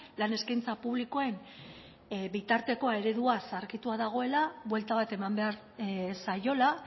lan eskaintza publikoen bitarteko eredua zaharkitua dagoela buelta bat eman behar zaiola